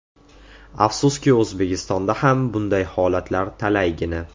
Afsuski, O‘zbekistonda ham bunday holatlar talaygina.